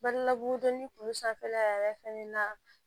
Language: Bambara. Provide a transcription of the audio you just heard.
Badi la bugudonni kun sanfɛla yɛrɛ fɛnɛ na